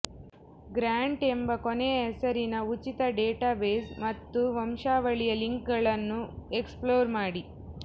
grant ಎಂಬ ಕೊನೆಯ ಹೆಸರಿನ ಉಚಿತ ಡೇಟಾಬೇಸ್ ಮತ್ತು ವಂಶಾವಳಿಯ ಲಿಂಕ್ಗಳನ್ನು ಎಕ್ಸ್ಪ್ಲೋರ್ ಮಾಡಿ